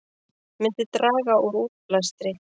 Myndi draga úr útblæstri